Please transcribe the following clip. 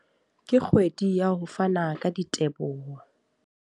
Ke kgwedi ya ho fana ka diteboho.